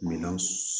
Minɛn